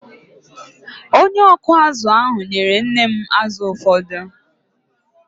Onye ọkụ azụ̀ ahụ nyere nne m azụ̀ ụfọdụ.